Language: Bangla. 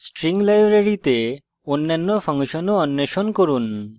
string library অন্যান্য ফাংশন ও অন্বেষণ করুন